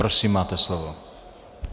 Prosím, máte slovo.